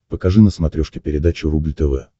покажи на смотрешке передачу рубль тв